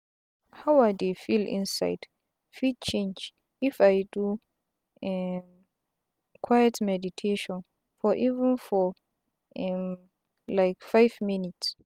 how i dey feel inside fit change if i do um quiet meditation for even for um like five minutes